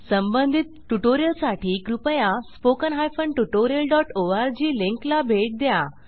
संबंधित ट्यूटोरियल साठी कृपया स्पोकन हायफेन tutorialओआरजी लिंक ला भेट द्या